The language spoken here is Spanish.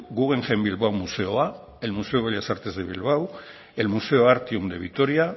guggenheim bilbao museoa el museo de bellas artes de bilbao el museo artium de vitoria